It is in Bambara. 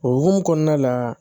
O hokumu kɔnɔna la